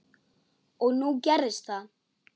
Og nú gerðist það.